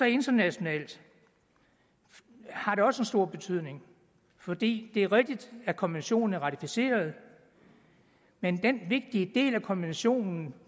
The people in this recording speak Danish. internationalt har det også en stor betydning for det er rigtigt at konventionen er blevet ratificeret men den vigtige del af konventionen